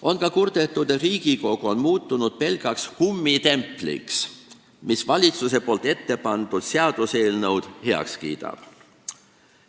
On ka kurdetud, et Riigikogu on muutunud pelgaks kummitempliks, mis valitsuse poolt ettepandud seaduseelnõud heaks kiidab.